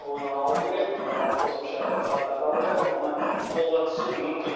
одан алу керек оны жаңа қосымша заттарды алу керек оны қолға түсу мүмкін